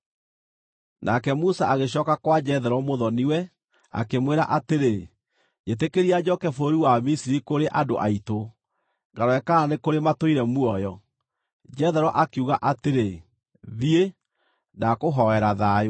Nake Musa agĩcooka kwa Jethero mũthoni-we, akĩmwĩra atĩrĩ, “Njĩtĩkĩria njooke bũrũri wa Misiri kũrĩ andũ aitũ, ngarore kana nĩ kũrĩ matũire muoyo.” Jethero akiuga atĩrĩ, “Thiĩ, ndakũhoera thayũ.”